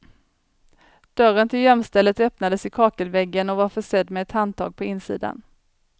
Dörren till gömstället öppnades i kakelväggen och var försedd med ett handtag på insidan.